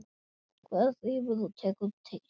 Hver þrífur og tekur til?